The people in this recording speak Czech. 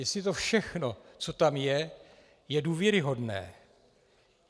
Jestli to všechno, co tam je, je důvěryhodné.